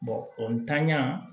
o ntanya